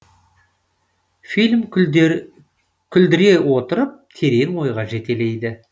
фильм күлдіре отырып терең ойға жетелейді